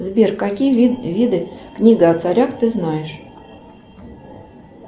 сбер какие виды книга о царях ты знаешь